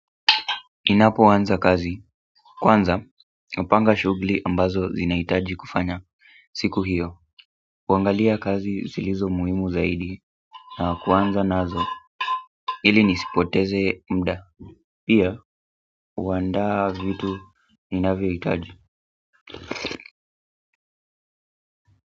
Ninapoanza kazi. Kwanza, napanga shughuli ambazo zinahitaji kufanya. Siku hiyo. Kuangalia kazi zilizo muhimu zaidi. Na kuanza nazo. Ili nisipoteze muda. Pia, kuanda vitu ninavyoitaji.